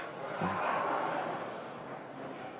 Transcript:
Siim Pohlak.